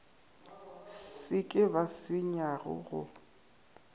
se ke ba senyega go